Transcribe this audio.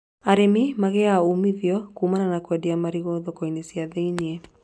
Arĩmi magĩaga umithio kumana na kwendia marigũ thoko-inĩ cia thĩinĩ.